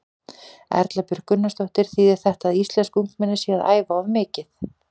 Erla Björg Gunnarsdóttir: Þýðir þetta að íslensk ungmenni séu að æfa of mikið?